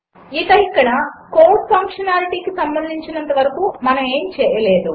ఇక ఇక్కడ కోడ్ ఫంక్షనాలిటీకి సంబంధించినంత వరకు మనము ఏమీ చేయలేదు